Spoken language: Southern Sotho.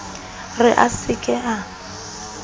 re a se ke a